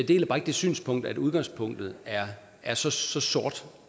deler bare ikke det synspunkt at udgangspunktet er så så sort